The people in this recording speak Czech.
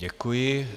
Děkuji.